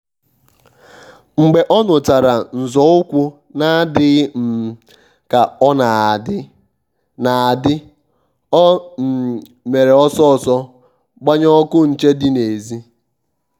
mgbe ọ́ nụ́chàrà nzọ́ụ́kwụ́ nà-àdị́ghị́ um kà ọ́ nà-àdị́ nà-àdị́ ọ́ um mèrè ọ́sọ́ ọ́sọ́ gbànyé ọ́kụ́ nchè dị́ n'èzì. um